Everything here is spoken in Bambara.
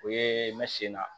O ye n bɛ sen na